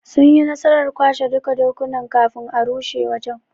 Sunyi nasarar kwashe duka dokunan kafin a rushe wajen '.